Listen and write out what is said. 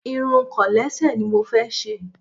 Irun kọ̀lẹ́sẹ̀ ni mo fẹ́ ṣe.